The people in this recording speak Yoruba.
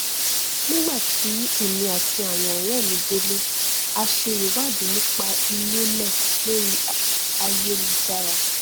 nígbàtí èmi àti àwọn ọrẹ mi délé a se ìwádìí nípa ilé náà lórí ayélujára